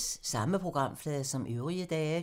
Samme programflade som øvrige dage